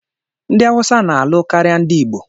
Ndị Hausa na-alụ karịa ndị Igbo